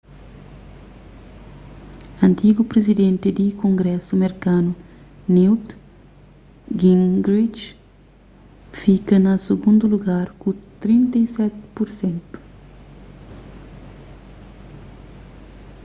antigu prizidenti di kongrésu merkanu newt gingrich fika na sigundu lugar ku 32 pur sentu